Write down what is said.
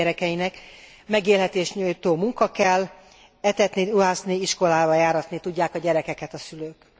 Józsefék gyerekeinek, megélhetést nyújtó munka kell, etetni, ruházni, iskolába járatni tudják a gyerekeket a szülők.